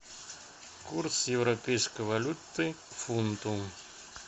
курс европейской валюты к фунту